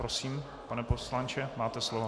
Prosím, pane poslanče, máte slovo.